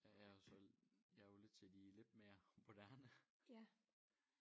Ja jeg er jo så jeg er jo lidt til de lidt mere moderne